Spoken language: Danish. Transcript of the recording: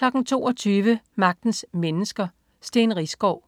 22.00 Magtens Mennesker: Steen Riisgaard.